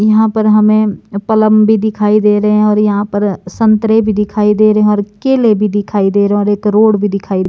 यहां पर हमें पलम भी दिखाई दे रहे हैं और यहां पर संतरे भी दिखाई दे रहे हैं और केले भी दिखाई दे रहे हैं एक रोड भी दिखाई --